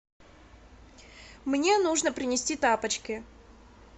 мне нужно принести тапочки